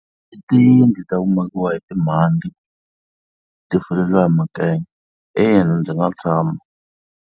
I tiyindlu ta ku makiwa hi timhandzi ti fuleriwa hi makenya, ina ndzi nga tshama.